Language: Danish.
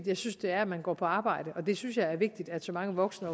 jeg synes det er at man går på arbejde og det synes jeg er vigtigt at så mange voksne